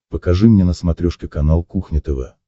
покажи мне на смотрешке канал кухня тв